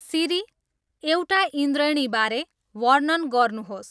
सिरी एउटा इन्द्रेणीबारे वर्णन गर्नुहोस्